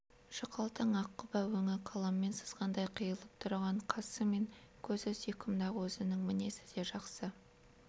жұқалтаң ақ құба өңі қаламмен сызғандай қиылып тұратын қасы мен көзі сүйкімді-ақ өзінің мінезі де жақсы